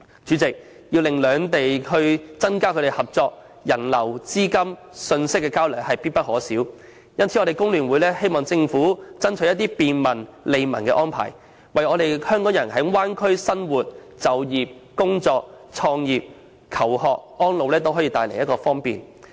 主席，要令兩地增加合作，人流、資金流及信息交流實屬必不可少，因此工聯會希望政府能爭取一些便民、利民的安排，為港人在大灣區生活、就業、創業、求學及安老帶來方便。